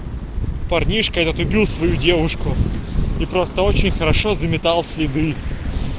парнишка этот убил свою девушку и просто очень хорошо заметал следы